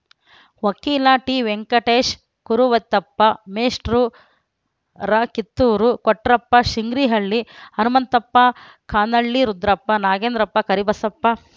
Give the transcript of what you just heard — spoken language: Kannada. ವಕೀಲ ಟಿವೆಂಕಟೇಶ ಕುರುವತ್ತೆಪ್ಪ ಮೇಷ್ಟ್ರು ಕಿತ್ತೂರು ಕೊಟ್ರಪ್ಪ ಶಿಂಗ್ರಿಹ್ರಳ್ಳಿ ಹನುಮಂತಪ್ಪ ಕಾನಳ್ಳಿ ರುದ್ರಪ್ಪ ನಾಗೇಂದ್ರಪ್ಪ ಕರಿಬಸಪ್ಪ